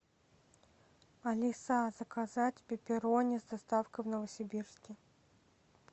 алиса заказать пепперони с доставкой в новосибирске